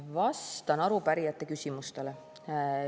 Vastan arupärijate küsimustele.